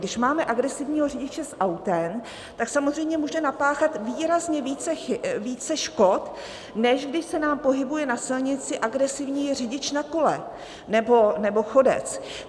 Když máme agresivního řidiče s autem, tak samozřejmě může napáchat výrazně více škod, než když se nám pohybuje na silnici agresivní řidič na kole nebo chodec.